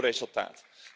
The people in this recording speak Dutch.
Beloon voor resultaat.